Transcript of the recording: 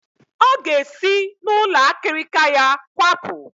Ọ ga-esi n'ụlọ akịrịka ya kwapụ